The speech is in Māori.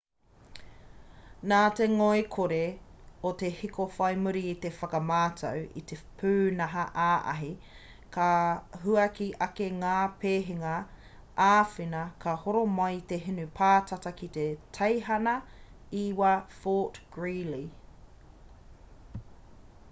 nā te ngoikore o te hiko whai muri i te whakamātau i te pūnaha-ā-ahi ka huaki ake ngā pēhanga āwhina ka horo mai te hinu pātata ki te teihana 9 fort greely